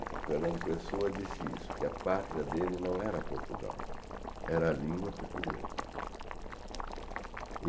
O Fernando Pessoa disse isso, que a pátria dele não era Portugal, era a língua portuguesa.